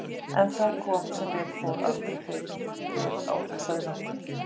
En það kom, sem betur fór, aldrei fyrir á þessari vertíð.